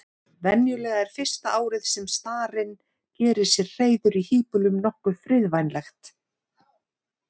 Venjulega er fyrsta árið sem starinn gerir sér hreiður í híbýlum nokkuð friðvænlegt.